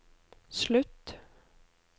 slutt